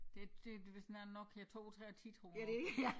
Det det vist den der Nokia 3210 tror jeg nok